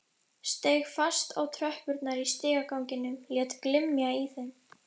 Steig fast á tröppurnar í stigaganginum, lét glymja í þeim.